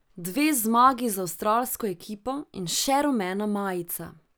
Dve zmagi z avstralsko ekipo in še rumena majica.